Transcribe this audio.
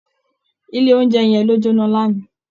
Ilé oúnjẹ yẹn ló jóná lánàá